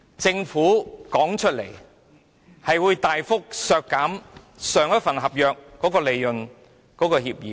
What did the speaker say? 政府曾表示會大幅削減上一份合約所訂的利潤協議。